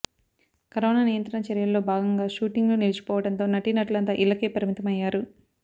corona నియంత్రణ చర్యల్లో భాగంగా షూటింగ్లు నిలిచిపోవడంతో నటీనటులంతా ఇళ్లకే పరిమితయ్యారు